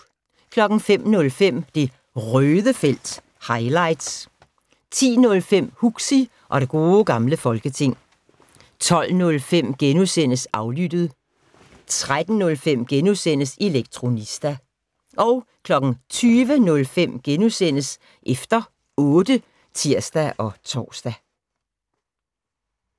05:05: Det Røde felt - highlights 10:05: Huxi og det gode gamle folketing 12:05: Aflyttet * 13:05: Elektronista * 20:05: Efter otte *(tir-tor)